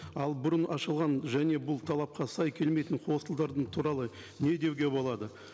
ал бұрын ашылған және бұл талапқа сай келмейтін хостелдардың туралы не деуге болады